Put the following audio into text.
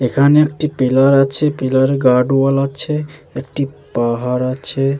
এখানে একটি পিলার আছে। পিলার -এ গার্ড ওয়াল আছে একটি পাহাড় আছে ।